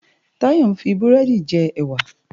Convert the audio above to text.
Tayo n fi búrèdi jè èwá